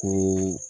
Ko